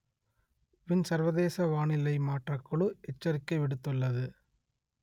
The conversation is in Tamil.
வின் சர்வதேச வானிலை மாற்றக் குழு எச்சரிக்கை விடுத்துள்ளது